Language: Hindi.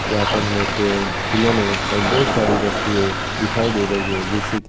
यहाँ पे हमें पेड़ खिलौने और बहुत सारी वस्तुएं दिखाई दे रही है जिससे की --